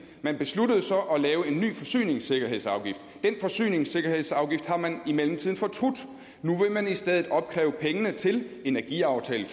man besluttede så at lave en ny forsyningssikkerhedsafgift den forsyningssikkerhedsafgift har man i mellemtiden fortrudt og nu vil man i stedet opkræve pengene til energiaftalen